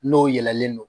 N'o yɛlɛlen don